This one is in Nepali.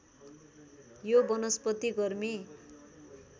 यो वनस्पति गर्मी